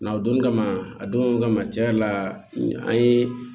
Nga o don kama a don kama tiɲɛ yɛrɛ la an ye